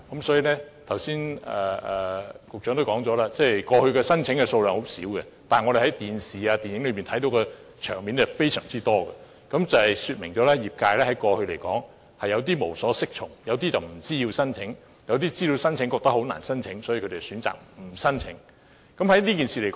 所以，局長剛才也說，過去申請數量很少，但我們從電視及電影卻看到很多這類場面，說明業界過去有點無所適從，有些人不知道要申請；有些人知道要申請，但覺得很難獲批，所以選擇不申請。